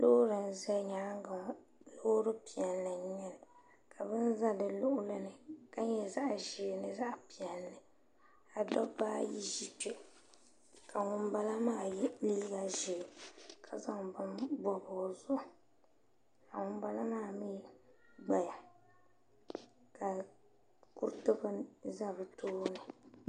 loori n-za nyaaga ŋɔ loori piɛlli n-nyɛli ka bini za di luɣili ni ka nyɛ zaɣ' ʒee ni zaɣ' piɛlli ka dabba ayi ʒi kpe ka ŋun bala maa ye liiga ʒee ka zaŋ bini bɔbi o zuɣu ka ŋun bala maa mi gba ya ka kuriti bini za bɛ tooni.